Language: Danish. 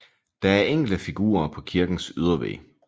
Der er enkelte figurer på kirkens ydervæg